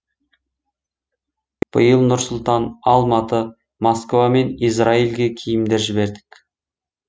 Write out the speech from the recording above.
биыл нұр сұлтан алматы москва мен израильге киімдер жібердік